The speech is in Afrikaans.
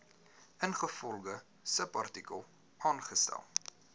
ingevolge subartikel aangestel